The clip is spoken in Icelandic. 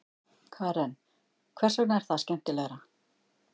Karen: Hvers vegna er það skemmtilegra?